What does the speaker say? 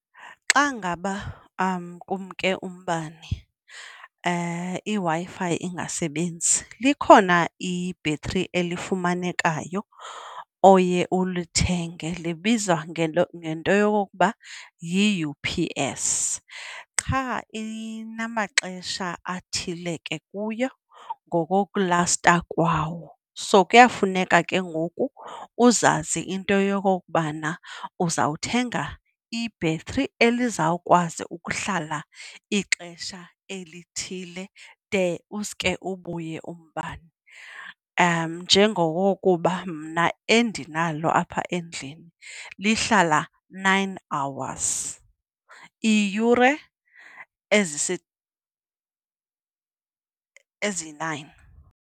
Xa ngaba kumke umbane iWi-Fi ingasebenzi likhona ibhetri elifumanekayo oye ulithenge libizwa ngento yokokuba yi-U_P_S. Qha inamaxesha athile ke kuyo ngokokulasta kwawo, so kuyafuneka ke ngoku uzazi into yokokubana uzawuthenga ibhetri elizawukwazi ukuhlala ixesha elithile de uske ubuye umbane. Njengokuba mna endinalo apha endlini lihlala nine hours, iiyure eziyi-nine.